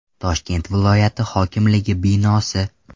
Toshkent viloyati hokimligi binosi.